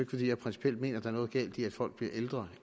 fordi jeg principielt mener at der er noget galt i at folk bliver ældre